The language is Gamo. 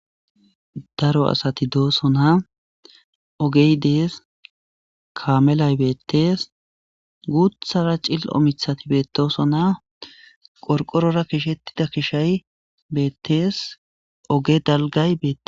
daro asati doosona ogey dees kaamelay beettees guthara cilo mithati beetoosonaa qorqorora kishettida kishay beettees oge dalgay beete